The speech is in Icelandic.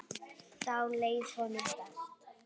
Þá leið honum best.